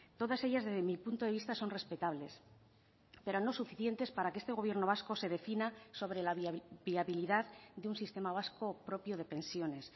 todas ellas desde mi punto de vista son respetables pero no suficientes para que este gobierno vasco se defina sobre la viabilidad de un sistema vasco propio de pensiones